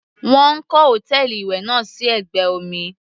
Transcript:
Wọ́n kọ́ hòtẹ́ẹ̀lì ìwẹ̀ náà sí ẹ̀gbẹ́ omi.